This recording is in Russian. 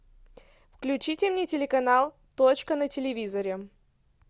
включите мне телеканал точка на телевизоре